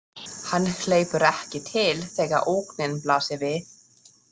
Hann hleypur ekki til þegar ógnin blasir við.